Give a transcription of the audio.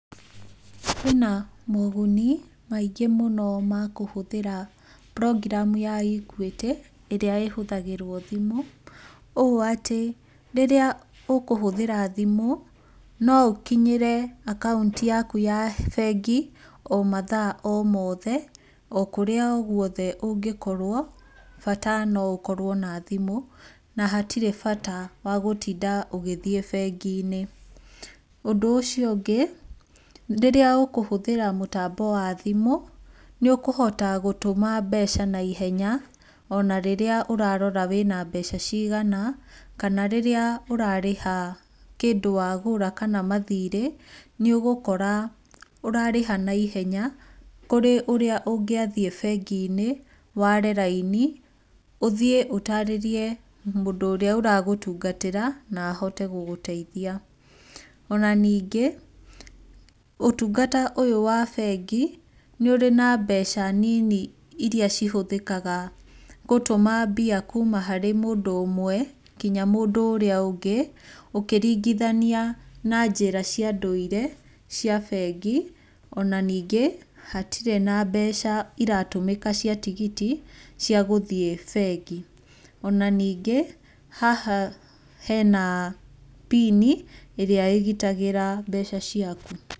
Kwĩ na moguni maingĩ mũno ma kũhũthĩra program ya Equity ĩrĩa ĩhũthagĩrwo thimũ, ũũ atĩ rĩrĩa ũkũhũthĩra thimũ no ũkinyĩre akaũnti yaku ya bengo o mathaa o mothe, o kũrĩa o guothe ũngĩkorwo, bata na ũkorwo na thimũ na hatirĩ bata wa gũtinga ũgĩthiĩ bengi-inĩ. Ũndũ ũcio ũngĩ, rĩrĩa ũkũhũthĩra mũtambo wa thimũ nĩ ũkũhota gũtũma mbeca naihenya ona rĩrĩa ũrarora wĩna mbeca cigana, kana rĩrĩa warĩha kĩndũ wagũra kana mathirĩ, nĩũgũkora ũrarĩha naihenya kũrĩ ũrĩa ũngĩathiĩ bengi-inĩ, ware raini, ũthiĩ ũtarĩrie mũndũ ũrĩa ũragũtungatĩra, na ahote gũgũteithia. Ona ningĩ, ũtungata ũyũ wa bengi nĩ ũrĩ na mbeca nini iria cihũthĩkaga gũtũma mbia kuuma harĩ mũndũ ũmwe nginya mũndũ ũrĩa ũngĩ ũkĩringithania na njĩra cia ndũire cia bengi, ona ningĩ hatirĩ na mbeca ciratũmĩka cia tigiti cia gũthiĩ bengi. Ona ningĩ, haha hena pini ĩrĩa ĩgitagĩra mbeca ciaku.